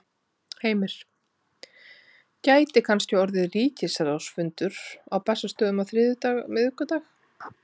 Heimir: Gæti kannski orðið ríkisráðsfundur á Bessastöðum á þriðjudag, miðvikudag?